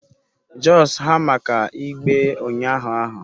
Just ha maka igbe unyahu ahu